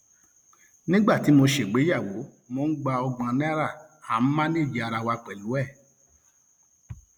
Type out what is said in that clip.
nígbà tí mo ṣègbéyàwó mò ń gba ọgbọn náírà à ń mánèèjì ara wa pẹlú ẹ